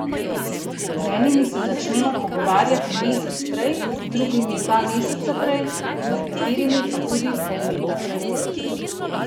Z enimi se začnemo pogovarjati mesec prej, z drugimi dva meseca prej, z nekaterimi pa tudi pol leta prej.